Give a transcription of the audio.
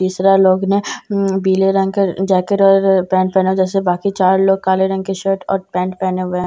तीसरा लोग ने ऊं पीले रंग का जैकेट और पेंट पहना हुआ है जैसे बाकी चार लोग काले रंग की शर्ट और पेंट पहने हुए हैं ।